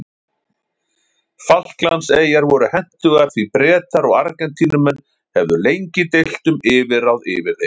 Falklandseyjar voru hentugar því Bretar og Argentínumenn höfðu lengi deilt um yfirráð yfir þeim.